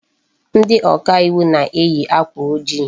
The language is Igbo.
Ndị oka iwu na-eyi akwa ojii.